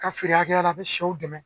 Ka feere hakɛya la a bɛ sɛw dɛmɛ